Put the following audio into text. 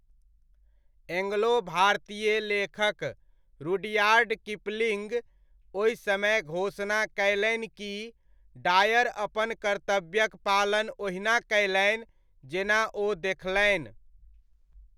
Angelo भारतीय लेखक Rudyard Kipling ओहि समय घोषणा कयलनि कि डायर अपन कर्तव्यक पालन ओहिना कयलनि जेना ओ देखलनि।